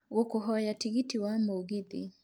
ngũkũhoya tigiti wa mũgithi